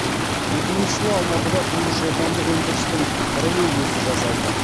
екі мыңыншы жылы алматыда тұңғыш отандық өндірістің троллейбусы жасалды